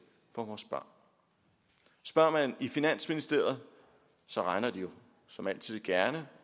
for vores børn spørger man i finansministeriet regner de jo som altid gerne